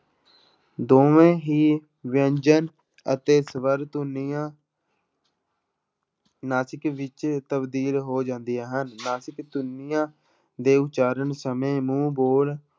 ਦੋਵੇਂ ਹੀ ਵਿਅੰਜਨ ਅਤੇ ਸਵਰ ਧੁਨੀਆਂ ਨਾਸਿਕ ਵਿੱਚ ਤਬਦੀਲ ਹੋ ਜਾਂਦੀਆਂ ਹਨ ਨਾਸਿਕ ਧੁਨੀਆਂ ਦੇ ਉਚਾਰਨ ਸਮੇਂ ਮੂੰਹ ਪੋਲ